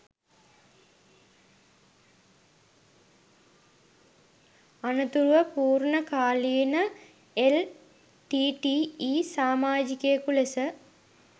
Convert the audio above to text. අනතුරුව පූර්ණකාලීන එල්.ටී.ටී.ඊ සමාජිකයෙකු ලෙස